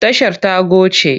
Tashar ta goce.